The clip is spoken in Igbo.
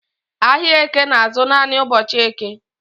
Ahịa Eke na-azụ naanị ụbọchị Eke